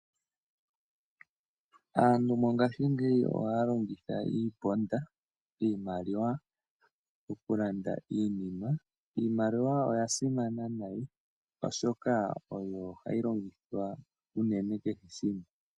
Aantu mongashingeya ohaya longitha iiponda mokulanda iinima. Iimaliwa oya simana oshoka oyo hayi longithwa unene kehe shimwe.